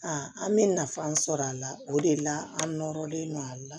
an bɛ nafa sɔrɔ a la o de la an nɔrɔlen do a la